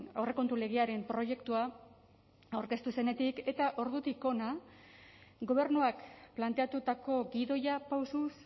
aurrekontu legearen proiektua aurkeztu zenetik eta ordutik hona gobernuak planteatutako gidoia pausuz